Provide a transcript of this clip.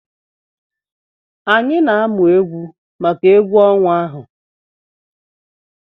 Anyị na-amụ egwu maka egwu ọnwa ahụ.